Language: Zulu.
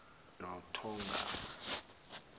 nothongama